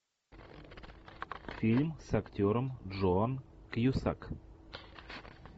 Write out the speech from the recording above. фильм с актером джон кьюсак